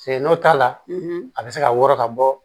Se n'o t'a la a bɛ se ka wɔɔrɔ ka bɔ